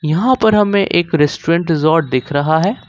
यहां पर हमें एक रेस्टोरेंट रिजॉर्ट दिख रहा है।